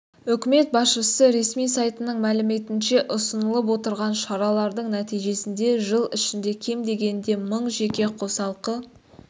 үкімет басшысы ресми сайтының мәліметінше ұсынылып отырған шаралардың нәтижесінде жыл ішінде кем дегенде мың жеке қосалқы